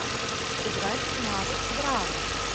сыграть в навык браво